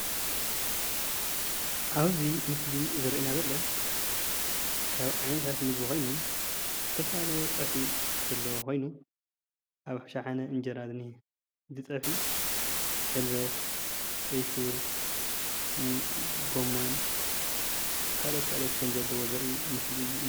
ኣብዚ ምስሊ ዘርእየና ዘሎ ካብ ዓይነታት ምግቢ ኮይኖም ዝተፈላለዩ ፀብሒ ዘለዎ ኮይኑ ኣብ ርእሲ ሸሓነ እንጀራ እንአ፡፡ እዚ ፀብሒ ሕልበት፣ ቀስር፣ ጎሞን ካሎኦት ካልኦትን ከም ዘለዎ ዘርኢ ምስሊ እዩ፡፡